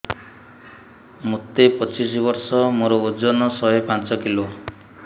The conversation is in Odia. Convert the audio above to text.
ମୋତେ ପଚିଶି ବର୍ଷ ମୋର ଓଜନ ଶହେ ପାଞ୍ଚ କିଲୋ